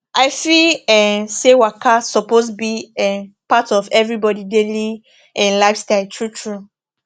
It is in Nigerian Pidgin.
i feel um say waka suppose be um part of everybody daily um lifestyle true true